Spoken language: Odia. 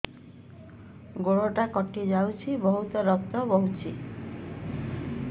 ଗୋଡ଼ଟା କଟି ଯାଇଛି ବହୁତ ରକ୍ତ ବହୁଛି